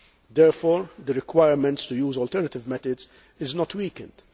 Therefore, the requirement to use alternative methods is not weakened